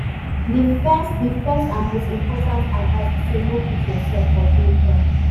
di first di first and most important advice be say no put yourself for danger!